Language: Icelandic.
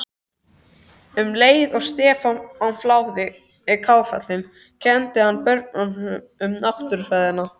Um leið og Stefán fláði kálfinn kenndi hann börnunum Náttúrufræðina.